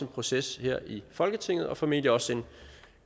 proces her i folketinget og formentlig også en